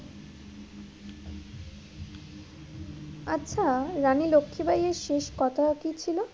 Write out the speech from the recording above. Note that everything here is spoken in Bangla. আচ্ছা রানী লক্ষি বাইয়ের শেষ কথা কি ছিল?